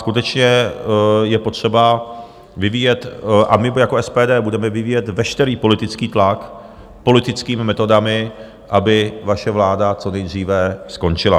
Skutečně je potřeba vyvíjet a my jako SPD budeme vyvíjet veškerý politický tlak politickými metodami, aby vaše vláda co nejdříve skončila.